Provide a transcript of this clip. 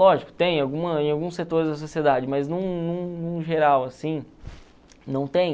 Lógico, tem alguma em alguns setores da sociedade, mas num num num geral assim, não tem.